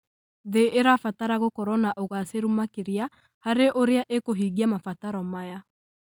thĩ ĩrabatara gũkorwo na ũgacĩru makĩria harĩ ũrĩa ĩkũhingia mabataro maya.